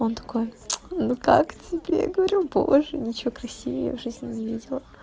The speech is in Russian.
он такой ну как тебе я говорю боже ничего красивее я в жизни не видела